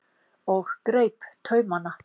og greip taumana.